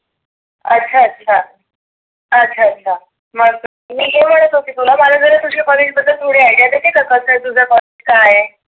अच्छा अच्छा. अच्छा अच्छा मग मी हे म्हणत होते तुला मला जरा तुझ्या कॉलेज बद्दल थोडी idea देते का? कस आहे तुझ कॉलेज काय आहे?